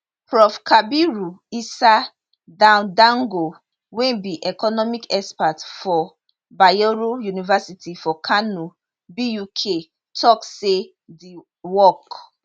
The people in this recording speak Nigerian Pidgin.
prof kabiru isa dandago wey be economic expert for bayero university for kano buk tok say di work